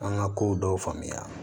An ka kow dɔw faamuya